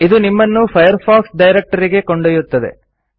ಇದು ನಿಮ್ಮನ್ನು Firefox directory ಗೆ ಕೊಂಡೊಯ್ಯುತ್ತದೆ